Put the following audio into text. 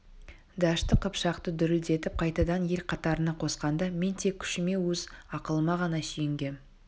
дәшті қыпшақты дүрілдетіп қайтадан ел қатарына қосқанда мен тек күшіме өз ақылыма ғана сүйенгем